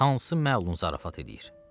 Hansı məlun zarafat eləyir?